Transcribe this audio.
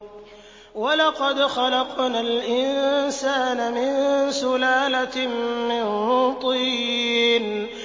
وَلَقَدْ خَلَقْنَا الْإِنسَانَ مِن سُلَالَةٍ مِّن طِينٍ